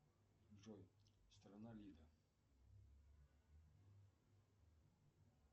джой страна лида